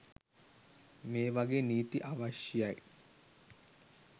මේ වගේ නීති අවශ්‍යයි.